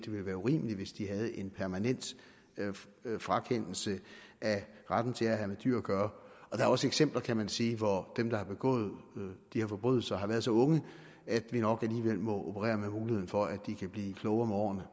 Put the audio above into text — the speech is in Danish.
ville være urimeligt hvis de havde fået en permanent frakendelse af retten til at have med dyr at gøre der er også eksempler kan man sige hvor dem der har begået de her forbrydelser har været så unge at vi nok må operere med muligheden for at de kan blive klogere med årene